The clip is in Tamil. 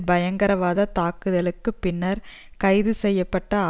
பயங்கரவாத தாக்குதல்களுக்கு பின்னர் கைது செய்ய பட்ட